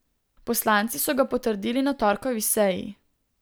Poslanci so ga potrdili na torkovi seji.